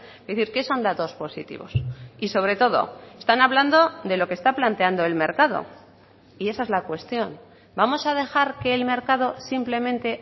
es decir qué son datos positivos y sobre todo están hablando de lo que está planteando el mercado y esa es la cuestión vamos a dejar que el mercado simplemente